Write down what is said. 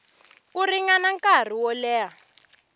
ku ringana nkarhi wo leha